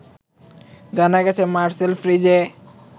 জানা গেছে মারসেল ফ্রিজে